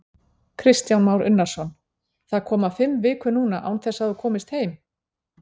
Kristján Már Unnarsson:: Það koma fimm vikur núna án þess að þú komist heim?